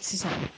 Sisan